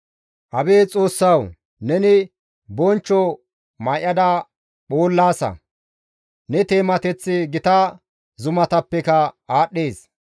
Abeet Xoossawu! Neni bonchcho may7ada phoollaasa; Ne teemateththi gita zumatappeka aadhdhees.